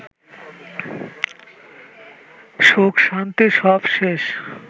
সুখ-শান্তি সব শেষ